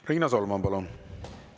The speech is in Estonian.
Riina Solman, palun!